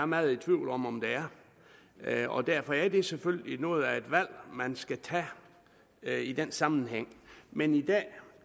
meget i tvivl om om der er og derfor er det selvfølgelig noget af et valg man skal tage i den sammenhæng men i dag